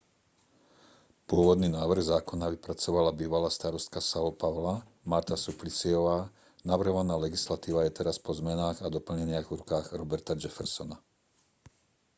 pôvodný návrh zákona vypracovala bývalá starostka são paula marta suplicyová. navrhovaná legislatíva je teraz po zmenách a doplneniach v rukách roberta jeffersona